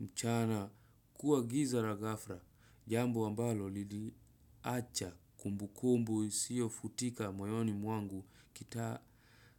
mchana kuwa giza na gafla. Jambo ambalo liliacha kumbu kumbu isiyo futika moyoni mwangu kita